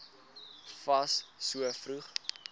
fas so vroeg